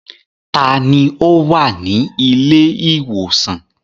Ta ni ó wà ní ilé-ìwòsàn?